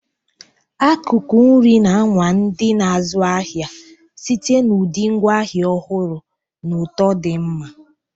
Akụkụ nri na-anwa ndị na-azụ ahịa site na ụdị ngwaahịa ọhụrụ na ụtọ di nma.